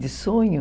De sonho?